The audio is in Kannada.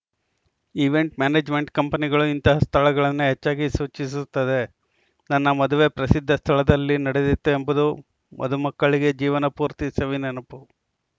ಈವೆಂಟ್‌ ಮ್ಯಾನೇಜ್‌ಮೆಂಟ್‌ ಕಂಪನಿಗಳು ಇಂತಹ ಸ್ಥಳಗಳನ್ನೇ ಹೆಚ್ಚಾಗಿ ಸೂಚಿಸುತ್ತವೆ ನನ್ನ ಮದುವೆ ಪ್ರಸಿದ್ಧ ಸ್ಥಳದಲ್ಲಿ ನಡೆದಿತ್ತು ಎಂಬುದು ಮದುಮಕ್ಕಳಿಗೆ ಜೀವನಪೂರ್ತಿ ಸವಿನೆನಪು